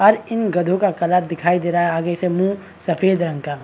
are इन गधो का कलर दिखाई दे रहा है आगे से मुँह सफ़ेद रंग का --